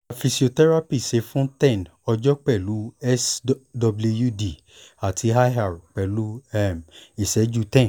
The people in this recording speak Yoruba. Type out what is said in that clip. gba physiotherapy ṣe fún ten ọjọ́ pẹ̀lú swd ati ir pẹlu um iṣẹju ten